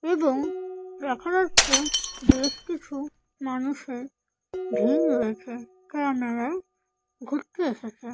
এবং দেখা যাচ্ছে বেশ কিছু মানুষের ভিড় রয়েছে কারণ এরা ঘুরতে এসেছে ।